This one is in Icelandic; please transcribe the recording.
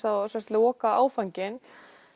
lokaáfanginn